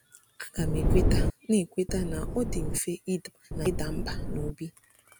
Aga m ekweta na ekweta na ọ dị mfe ịdaba n’ịda mbà n’obi.